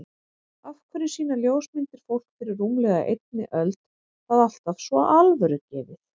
Af hverju sýna ljósmyndir fólk fyrir rúmlega einni öld það alltaf svo alvörugefið?